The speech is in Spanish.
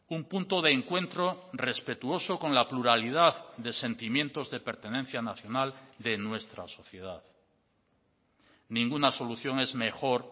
un punto de encuentro respetuoso con la pluralidad de sentimientos de pertenencia nacional de nuestra sociedad ninguna solución es mejor